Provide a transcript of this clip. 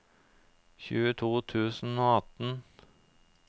tjueto tusen og atten